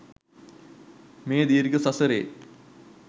මේ දීර්ඝ සසරේ